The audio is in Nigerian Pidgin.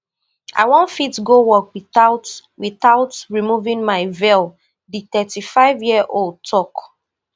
i wan fit go work witout witout removing my veil di thirty-fiveyearold tok